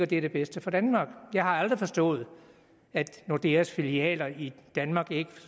det er det bedste for danmark jeg har aldrig forstået at nordeas filialer i danmark ikke